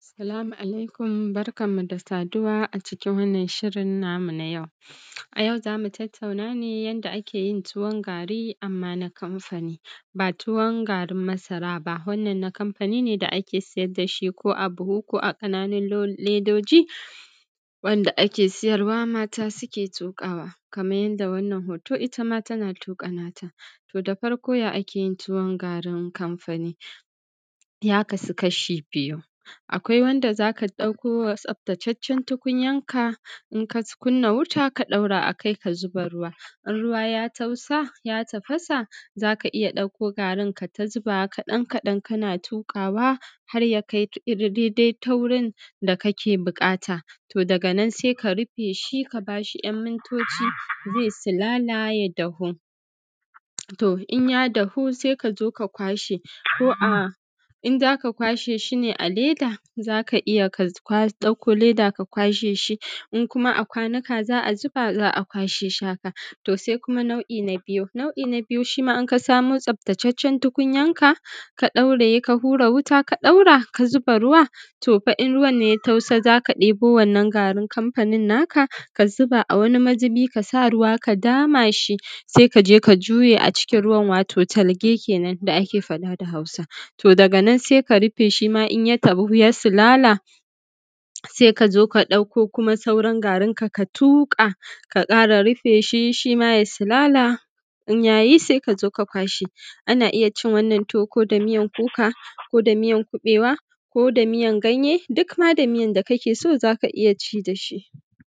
Salamu alaikum. Barkanmu da saduwa a cikin wannan shirin namu na yau. A yau za mu tattauna ne yanda ake yin tuwon gari, amma na kamfani, ba tuwon garin masara ba. Wannan na kamfani ne, da ake siyar da shi ko a buhu, ko a ƙananin ledoji, wanda ake siyarwa mata, suke tuƙawa. Kaman yanda wannan hoto, ita ma tana tuƙa nata. To, da farko, ya ake yin tuwon garin kamfani? Ya kasu ƙashi biyu: Akwai wanda za ka ɗauko tsaftataccen tukunyanka, in ka kunna wuta, ka ɗaura a kai, ka zuba ruwa. In ruwa ya tausa, ya tafasa, za ka iya ɗauko garin, ka zubawa ƙaɗan-ƙaɗan, kana tuƙawa har ka kai dai-dai taurin da kake buƙata. To, daga nan, sai ka rife shi, ka ba shi ɗan mintoci, za yi silala, ya dahu. To, in ya dahu, sai ka zo, ka ƙwashe. Ko a ina za ka ƙwashe shi? Ne a leda za ka iya, ka ɗauko leda, ka ƙwashe shi; in kuma a ƙwanuka za a zuba, za a ƙwashe shi haka. Nau'i na biyu: Shi ma, in ka samo tsaftataccen tukunyanka, ka ɗauraye, ka hura wuta, ka ɗaura, ka zuba ruwa. To, in fa ruwan-nan ya tausa, za ka ɗebo wannan garin kamfani-nan, ka zuba a wani mazubi, ka sa ruwa, ka dama shi. Sai ka je, ka juye a cikin ruwan—wato talge kenan da ake faɗa da Hausa. To, daga nan, sai ka rife, shi ma, in ya dahu, ya silala, sai ka zo, ka ɗauko, kuma sauran garin aka tuƙa, ka ƙara rufe shi. Shi ma, ya silala, in ya yi, sai ka zo, ka ƙwashe. Ana iya cin wannan tuwo, ko da miyan kuka, ko da miyan kuɓewa, ko da miyan ganye, duk ma da miyan da kake so, za ka iya ci da shi.